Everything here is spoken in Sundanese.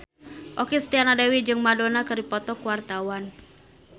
Okky Setiana Dewi jeung Madonna keur dipoto ku wartawan